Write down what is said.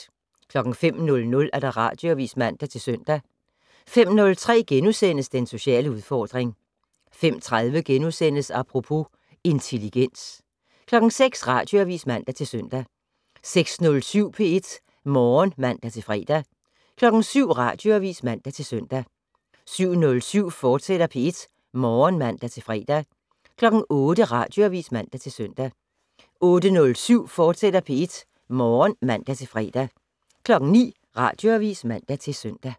05:00: Radioavis (man-søn) 05:03: Den sociale udfordring * 05:30: Apropos - intelligens * 06:00: Radioavis (man-søn) 06:07: P1 Morgen (man-fre) 07:00: Radioavis (man-søn) 07:07: P1 Morgen, fortsat (man-fre) 08:00: Radioavis (man-søn) 08:07: P1 Morgen, fortsat (man-fre) 09:00: Radioavis (man-søn)